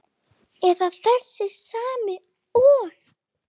Er það þessi sami og.